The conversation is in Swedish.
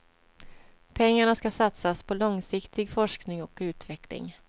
Pengarna ska satsas på långsiktig forskning och utveckling.